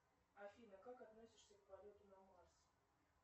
афина как относишься к полету на марс